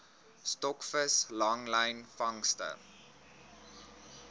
stokvis langlyn vangste